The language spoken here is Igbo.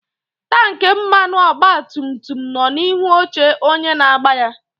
Tanki mmanụ ọgba tum tum nọ n'ihu oche onye na-agba ya.